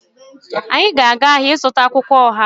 Anyị ga-aga ahịa ịzụta akwụkwọ ọha